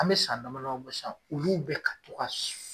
An bɛ san dama dama dɔ sisan olu bi ka to ka